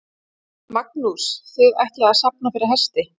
Magnús: Þið ætlið að safna fyrir hesti?